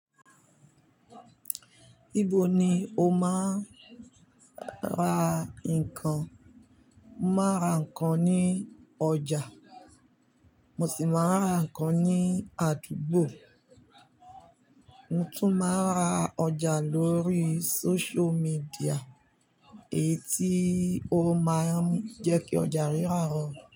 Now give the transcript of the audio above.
Ibo ni o máa ra nǹkan? Mo máa ra nǹkan ní ọjà, mo sì máa ra nǹkan ní àdúgbò, mo tún máa ra ọjà lórí social media èyí tí ó máa ń jẹ́ kí ọjà rírà rọrùn.